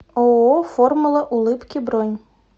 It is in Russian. ооо формула улыбки бронь